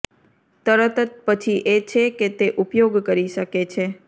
તરત પછી એ છે કે તે ઉપયોગ કરી શકે છે